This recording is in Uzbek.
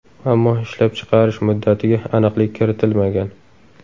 Ammo ishlab chiqarish muddatiga aniqlik kiritilmagan.